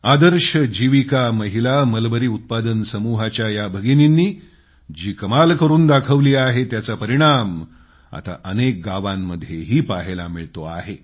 आदर्श जीविका महिला मलबरी उत्पादन समूहाच्या या दीदींनी जी कमाल करून दाखवली आहे त्याचा परिणाम आता अनेक गावांमध्येही पहायला मिळतोय